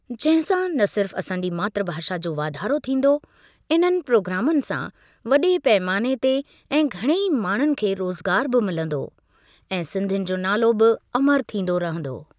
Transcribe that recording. जंहिं सां न सिर्फ़ु असांजी मातृ भाषा जो वाधारो थींदो, इननि प्रोग्रामनि सां वॾे पैमाने ते ऐं घणेई माण्हुनि खे रोज़गार ॿि मिलंदो ऐं सिंधियुनि जो नालो बि अमरु थींदो रहंदो।